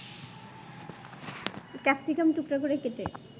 capsicum টুকরা করে কেটে